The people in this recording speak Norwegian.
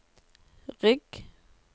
rygg